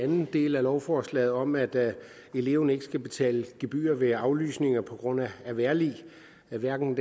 den del af lovforslaget om at eleven ikke skal betale gebyr ved aflysninger på grund af vejrlig hverken